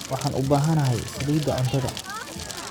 Waxaan u baahanahay saliidda cuntada.